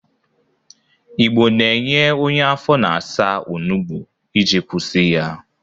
Igbo na-enye onye afọ na-asa onugbo iji kwụsị ya.